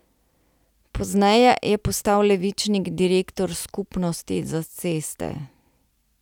Pozneje je postal Levičnik direktor Skupnosti za ceste.